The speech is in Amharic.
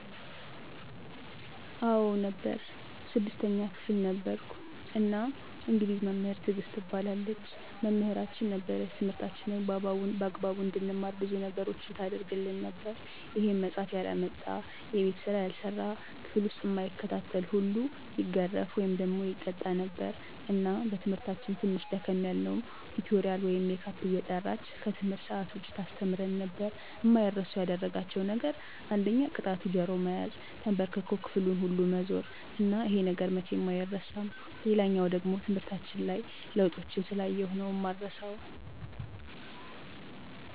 አዎ ነበር 6ተኛ ክፍል ነበርኩ እና እንግሊዝ መምህር ትግስት ትባላለች መምህራችን ነበረች ትምህርታችንን በአግባቡ እንድንማር ብዙ ነገሮችን ታረግልን ነበር ይሄም መፃሐፍ ያላመጣ፣ የቤት ስራ ያልሰራ፣ ክፍል ዉስጥ እማይከታተል ሁሉ ይገረፍ( ይቀጣ ) ነበር እና በትምህርታችን ትንሽ ደከም ያልነዉን ቲቶሪያል ወይም ሜካፕ እየጠራች ከትምህርት ሰአት ዉጭ ታስተምረን ነበር። አማይረሱ ያደረጋቸዉ ነገር አንደኛ ቅጣቱ ጆሮ መያዝ፣ ተንበርክኮ ክፍሉን ሁሉ መዞር እና ይሄ ነገር መቼም አይረሳም። ሌላኛዉ ደሞ ትምህርታችን ላይ ለዉጦችን ስላየሁ ነዉ እማረሳዉ።